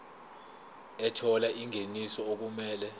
ethola ingeniso okumele